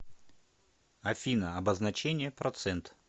афина обозначение процент